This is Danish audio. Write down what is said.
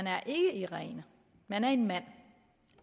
er irene men en mand